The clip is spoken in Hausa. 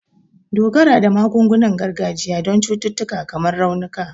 Dogara da magungunan gargajiya don cututtuka kamar raunuka